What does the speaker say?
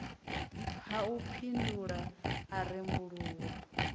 ha u mphindula a rembuluwa